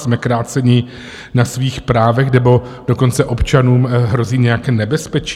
Jsme kráceni na svých právech, nebo dokonce občanům hrozí nějaké nebezpečí?